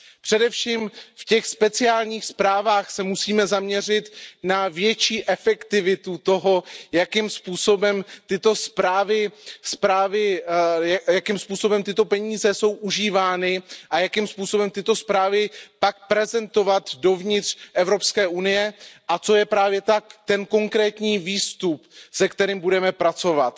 Především v těch speciálních zprávách se musíme zaměřit na větší efektivitu toho, jakým způsobem tyto peníze jsou užívány a jakým způsobem tyto zprávy pak prezentovat dovnitř Evropské unie a co je právě ten konkrétní výstup, se kterým budeme pracovat.